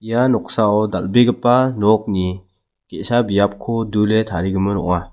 ia noksao dal·begipa nokni ge·sa biapko dule tarigimin ong·a.